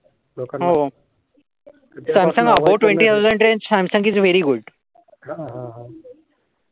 हा हा.